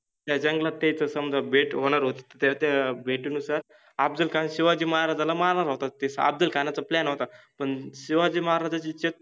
त्या जंगलात त्यायच समजा भेट होनार होत त्या त्या भेटिनुसार अफजलखान शिवाजि महाराजाला मारनार होता तस अफजलखानाचा plan होता पन शिवाजि महाराजाचि च